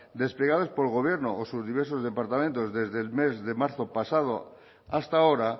desplegadas por el gobierno o sus diversos departamentos desde el mes de marzo pasado hasta ahora